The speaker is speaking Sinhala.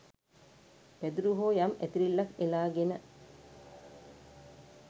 පැදුරු හෝ යම් ඇතිරිල්ලක් එලාගෙන